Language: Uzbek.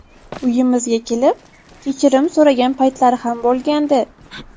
Uyimizga kelib kechirim so‘ragan paytlari ham bo‘lgandi.